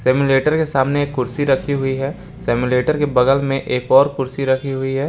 Simulator के सामने एक कुर्सी रखी हुई है सिम्युलेटर के बगल में एक और कुर्सी रखी हुई है।